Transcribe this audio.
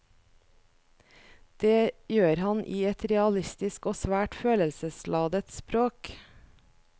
Det gjør han i et realistisk og svært følelsesladet språk.